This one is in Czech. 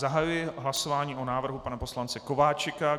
Zahajuji hlasování o návrhu pana poslance Kováčika.